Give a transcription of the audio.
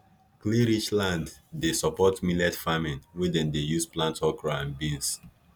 clayrich land dey support millet farming wey dem dey use plant okra and beans